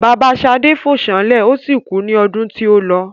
Bàbá Ṣadé fó sánlè o si kú ní ọdún tí ólọ